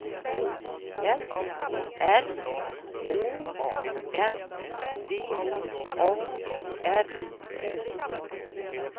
F R Å N V A R O